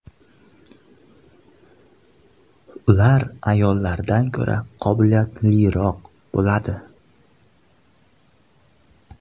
Ular ayollardan ko‘ra qobiliyatliroq bo‘ladi.